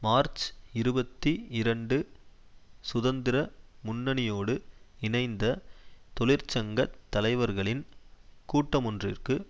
March இருபத்தி இரண்டு சுதந்திர முன்னணியோடு இணைந்த தொழிற்சங்க தலைவர்களின் கூட்டமொன்றுக்கு